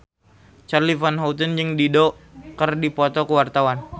Charly Van Houten jeung Dido keur dipoto ku wartawan